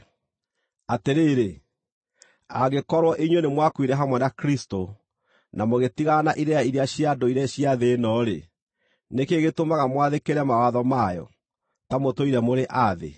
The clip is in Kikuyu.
Atĩrĩrĩ, angĩkorwo inyuĩ nĩmwakuire hamwe na Kristũ, na mũgĩtigana na irĩra iria cia ndũire cia thĩ ĩno-rĩ, nĩ kĩĩ gĩtũmaga mwathĩkĩre mawatho mayo, ta mũtũire mũrĩ a thĩ?